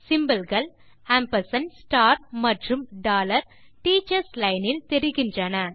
symbolகள் amp மற்றும் teachers line இல் தெரிகின்றன